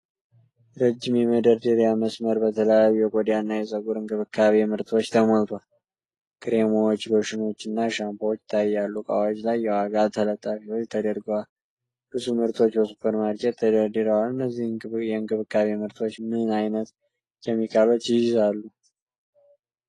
ረዥም የመደርደሪያ መስመር በተለያዩ የቆዳና የፀጉር እንክብካቤ ምርቶች ተሞልቷል። ክሬሞች፣ ሎሽኖች እና ሻምፖዎች ይታያሉ። እቃዎች ላይ የዋጋ ተለጣፊዎች ተደርገዋል። ብዙ ምርቶች በሱፐር ማርኬት ተደርድረዋል። እነዚህ የእንክብካቤ ምርቶች ምን አይነት ኬሚካሎችን ይይዛሉ?